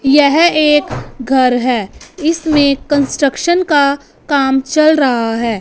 यह एक घर हैं इसमें कंस्ट्रक्शन का काम चल रहा हैं।